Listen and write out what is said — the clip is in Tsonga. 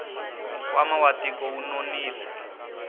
nkwama wa tiko wu nonile